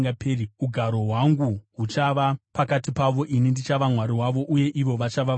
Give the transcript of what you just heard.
Ugaro hwangu huchava pakati pavo, ini ndichava Mwari wavo, uye ivo vachava vanhu vangu.